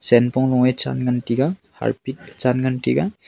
che pong law a chan ngan taiga harpic chan ngan taiga.